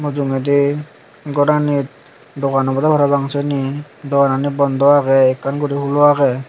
mujogendi goranit dogan obode parapang siano dogani bodo age ekkan guri hulo age.